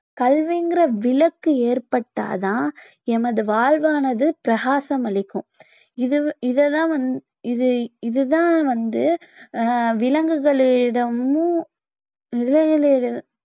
கல்விங்கிற விளக்கு ஏற்பட்டா தான் எனது வாழ்வானது பிரகாசம் அளிக்கும் இது வி~ இத தான் வந்~ இத~ இத தான் வந்து ஆஹ் விலங்குகளிடமும்